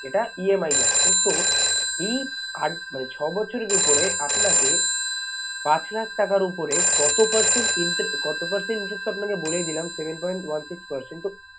এটা EMI যাচ্ছে তো এই মানে ছবছরের উপরে আপনাকে পাঁচ লাখ টাকার ওপরে কত percent কত percent interest তো আপনাকে বলেই দিলাম seven point one six percent তো